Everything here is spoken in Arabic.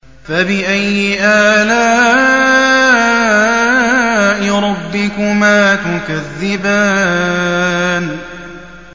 فَبِأَيِّ آلَاءِ رَبِّكُمَا تُكَذِّبَانِ